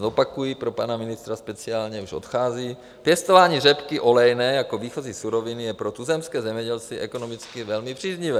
Zopakuji pro pana ministra speciálně, už odchází: Pěstování řepky olejné jako výchozí suroviny je pro tuzemské zemědělce ekonomicky velmi příznivé.